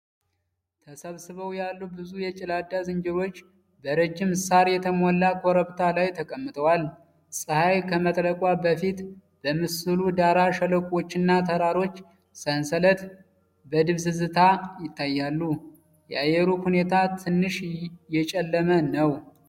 ተሰብስበው ያሉ ብዙ የገላዳ ዝንጀሮዎች በረጅም ሣር የተሞላ ኮረብታ ላይ ተቀምጠዋል። ፀሐይ ከመጥለቋ በፊት በምስሉ ዳራ የሸለቆዎችና የተራሮች ሰንሰለት በድብዝዝታ ይታያሉ። የአየሩ ሁኔታ ትንሽ የጨለመ ነው።